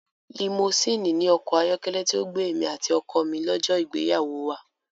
Limosíìnì ni ọkọ̀ ayọ́kẹ́lẹ́ tí ó gbé èmi àti ọkọ mi lọ́jọ́ ìgbéyàwó wa.